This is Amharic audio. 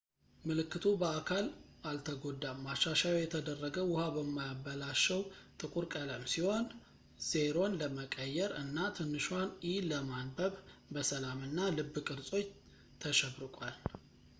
ምልክቱ በአካል አልተጎዳም፣ ማሻሻያው የተደረገ ውሃ በማያበላሸው ጥቁር ቀለም ሲሆን o”ን ለመቀየር እና ትንሿን e” ለማንበብ በሰላም እና ልብ ቅርጾች ተሸብርቋል